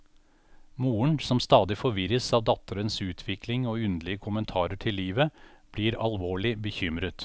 Moren, som stadig forvirres av datterens utvikling og underlige kommentarer til livet, blir alvorlig bekymret.